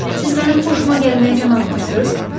Siz mənim xoşuma gəlməyə can atmırsız?